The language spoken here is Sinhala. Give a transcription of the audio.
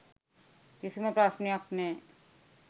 කිසිම ප්‍රශ්නයක් නෑ.